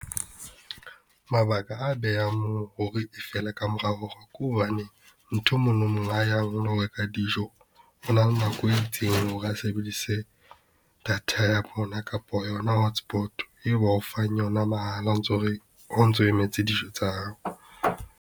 Mabaka a behang moo hore di fele ka morao hore ke hobane nthwe mono mo a yang o lo reka dijo, o na le nako e itseng hore a sebedise data ya bona kapa yona hotspot, e ba o fang yona mahala, o ntso re ha o ntso emetse dijo tsa hao.